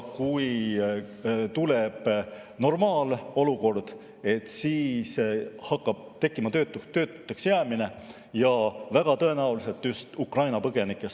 Kui tuleb normaalolukord, siis hakkab tekkima töötuks jäämine ja väga tõenäoliselt saab see alguse Ukraina põgenikest.